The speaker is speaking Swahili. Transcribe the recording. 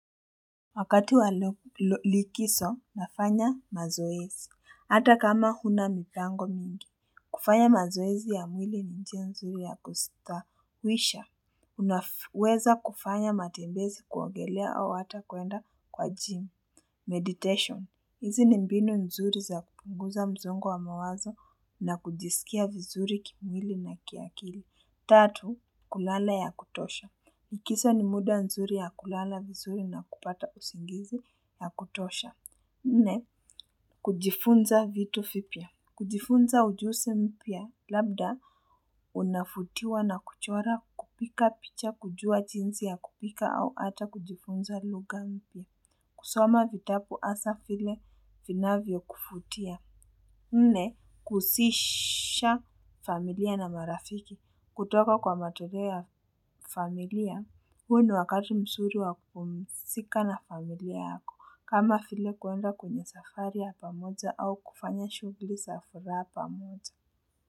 Wakati walo walikiso, nafanya mazoezi. Hata kama huna mipango mingi. Kufanya mazoezi ya mwili ni njia nzuri ya kusta. Wisha, unaweza kufanya matembezi kuogelea au hata kuenda kwa gym. Meditation, hizi ni mbinu nzuri za kupunguza mzongo wa mawazo na kujiskia vizuri kimwili na kiakili. Tatu, kulala ya kutosha. Ikisa ni muda nzuri ya kulala vizuri na kupata usingizi na kutosha. Nne, kujifunza vitu vipya. Kujifunza ujusi mpya labda unafutiwa na kuchora kupika picha kujua jinsi ya kupika au ata kujifunza lugha mpya. Kusoma vitabu asa vile vinavyo kuvutia. Nde, kusisha familia na marafiki. Kutoka kwa matolea familia. Huo ni wakati msuri wa kupumsika na familia yako kama vile kuenda kwenye safari ya pamoja au kufanya shugli za furaha pamoja.